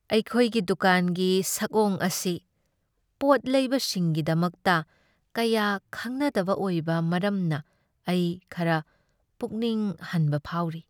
ꯑꯩꯈꯣꯏꯒꯤ ꯗꯨꯀꯥꯟꯒꯤ ꯁꯛꯑꯣꯡ ꯑꯁꯤ ꯄꯣꯠ ꯂꯩꯕꯁꯤꯡꯒꯤꯗꯃꯛꯇ ꯀꯌꯥ ꯈꯪꯅꯗꯕ ꯑꯣꯏꯕ ꯃꯔꯝꯅ ꯑꯩ ꯈꯔ ꯄꯨꯛꯅꯤꯡ ꯍꯟꯕ ꯐꯥꯎꯔꯤ꯫